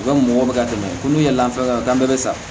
U ka mɔgɔw bɛ ka dɛmɛ ko n'u ye lafiyɛn gan bɛ bɛ sa